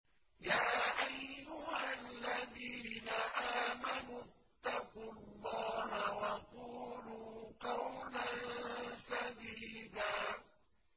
يَا أَيُّهَا الَّذِينَ آمَنُوا اتَّقُوا اللَّهَ وَقُولُوا قَوْلًا سَدِيدًا